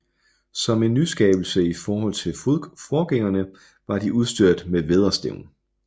Som en nyskabelse i forhold til forgængerne var de udstyret med vædderstævn